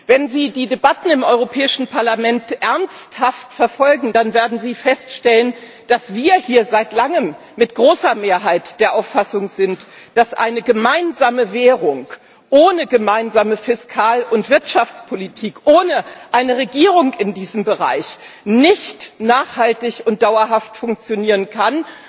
Wenn Sie die Debatten im Europäischen Parlament ernsthaft verfolgen, dann werden Sie feststellen, dass wir hier seit langem mit großer Mehrheit der Auffassung sind, dass eine gemeinsame Währung ohne gemeinsame Fiskal und Wirtschaftspolitik, ohne eine Regierung in diesem Bereich, nicht nachhaltig und dauerhaft funktionieren kann.